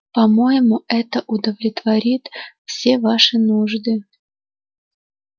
по-моему это удовлетворит все ваши нужды